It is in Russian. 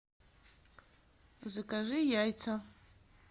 закажи яйца